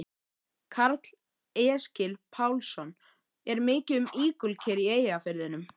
Karl Eskil Pálsson: Er mikið um ígulker í Eyjafirðinum?